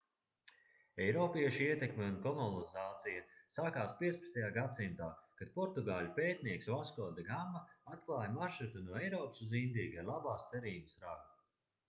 eiropiešu ietekme un kolonizācija sakās 15. gadsimtā kad portugāļu pētnieks vasko de gama atklāja maršrutu no eiropas uz indiju gar labās cerības ragu